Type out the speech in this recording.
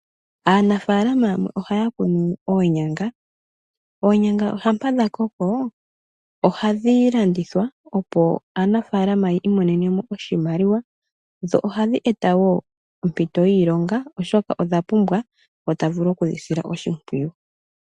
Aanafalama yamwe ohaya kunu oonyanga, oonyanga shampa dha koko ohadhi landithwa opo aanafaalama yi imonene mo oshimaliwa. Dho ohadhi eta wo ompito yiilonga oshoka odha pumbwa ngo tavulu okudhisila oshimpwiyu.